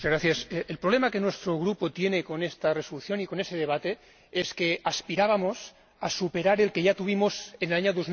Señora Presidenta, el problema que nuestro Grupo tiene con esta resolución y con este debate es que aspirábamos a superar el que ya tuvimos en el año